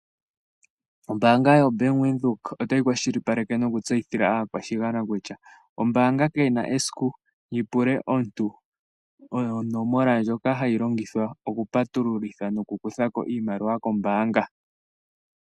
Ombaanga yobank Windhoek otayi kwashilipaleke nokutseyithila aakwashigwana kutya, ombaanga kayi na esiku yipule omuntu onomola ndjoka hayi longithwa oku patululitha noku kutha ko iimaliwa kombaanga.